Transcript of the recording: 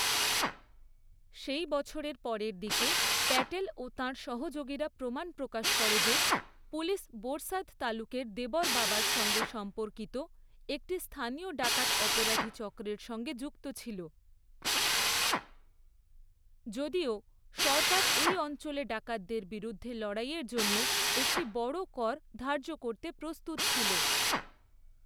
সেই বছরের পরের দিকে, প্যাটেল ও তাঁর সহযোগীরা প্রমাণ প্রকাশ করে যে, পুলিশ বোরসাদ তালুকের দেবর বাবার সঙ্গে সম্পর্কিত একটি স্থানীয় ডাকাত অপরাধী চক্রের সঙ্গে যুক্ত ছিল, যদিও সরকার এই অঞ্চলে ডাকাতদের বিরুদ্ধে লড়াইয়ের জন্য একটি বড় কর ধার্য করতে প্রস্তুত ছিল।